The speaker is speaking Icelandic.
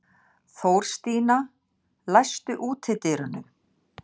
Þórstína, læstu útidyrunum.